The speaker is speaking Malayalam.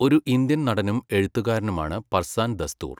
ഒരു ഇന്ത്യൻ നടനും എഴുത്തുകാരനുമാണ് പർസാൻ ദസ്തൂർ.